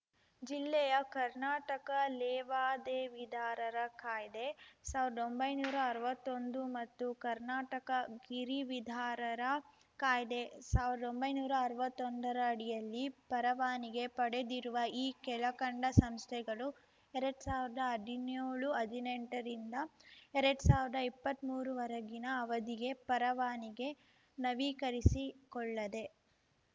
ಜಿಲ್ಲೆಯ ಕರ್ನಾಟಕ ಲೇವಾದೇವಿದಾರರ ಕಾಯ್ದೆ ಸಾವ್ರ್ದಾ ಒಂಬೈನೂರಾ ಅರ್ವತ್ತೊಂದು ಮತ್ತು ಕರ್ನಾಟಕ ಗಿರಿವಿದಾರರ ಕಾಯ್ದೆ ಸಾವ್ರ್ದಾ ಒಂಬೈನೂರಾ ಅರ್ವತ್ತೊಂದರಡಿಯಲ್ಲಿ ಪರವಾನಿಗೆ ಪಡೆದಿರುವ ಈ ಕೆಳಕಂಡ ಸಂಸ್ಥೆಗಳು ಎರಡ್ ಸಾವಿರ್ದಾ ಹದಿನ್ಯೋಳು ಹದಿನೆಂಟ ರಿಂದ ಎರಡ್ ಸಾವಿರ್ದಾ ಇಪ್ಪತ್ಮೂರು ವರೆಗಿನ ಅವಧಿಗೆ ಪರವಾನಿಗೆ ನವೀಕರಿಸಿಕೊಳ್ಳದೆ